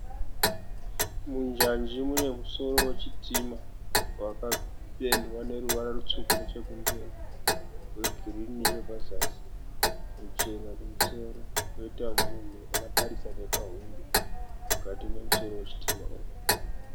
Munjanji mune musoro wechitima. Wakapendwa neruvara rutsvuku nechekumberi rwegirini nechepazasi ruchena kumusoro. Koita munhu akatarisa nepa hwindo mukati memusoro wechitima umu.